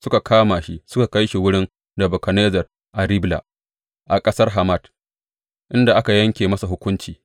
Suka kama shi suka kai shi wurin Nebukadnezzar a Ribla a ƙasar Hamat, inda aka yanke masa hukunci.